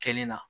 Kɛli la